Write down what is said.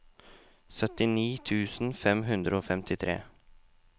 syttini tusen fem hundre og femtitre